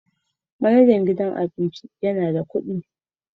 Manajan gidan abincin yana da kuɗi